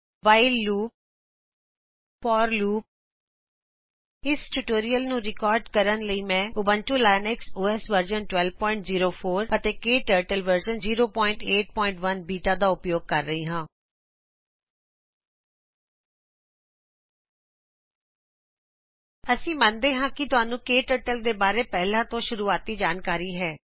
while loop ਅਤੇ for loop ਇਸ tutorial ਨੂੰ ਰਿਕਾਰਡ ਕਰਨ ਲਈ ਮੈਂ ਉਬਂਟੂ ਲਿਨਕਸ ਓਐੱਸ ਵਰਜਨ 1204 ਅਤੇ ਕਟਰਟਲ ਵਰਜਨ 081 ਬੀਟਾ ਦਾ ਉਪਯੋਗ ਕਰ ਰਹਿ ਹਾਂ ਅਸੀਂ ਮਨਦੇ ਹਾਂ ਕਿ ਤੁਹਾਨੂੰ ਕਟਰਟਲ ਦੇ ਬਾਰੇ ਪਹਿਲਾ ਤੋ ਸ਼ੂਰੁਆਤੀ ਜਾਣਕਾਰੀ ਹੈ